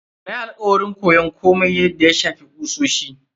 Na yi alakwarin koyon komai da ya shafi kusoshi.